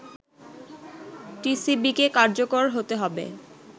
টিসিবিকে কার্যকর করতে হবে”